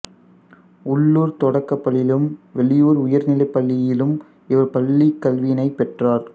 உள்ளூர்த் தொடக்கப்பள்ளியிலும் வெளியூர் உயர்நிலைப்பள்ளியிலும் இவர் பள்ளிக் கல்வியினைப் பெற்றார்